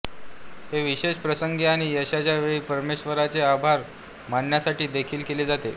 हे विशेष प्रसंगी आणि यशाच्या वेळी परमेश्वराचे आभार मानण्यासाठी देखील केले जाते